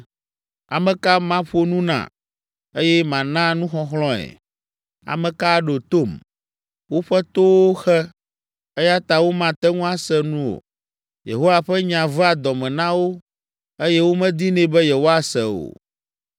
Ame ka maƒo nu na, eye mana nuxɔxlɔ̃e? Ame ka aɖo tom? Woƒe towo xe, eya ta womate ŋu ase nu o. Yehowa ƒe nya vea dɔ me na wo eye womedinɛ be yewoase o.